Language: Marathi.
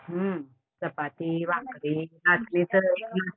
चपाती, भाकरी असलं सगळं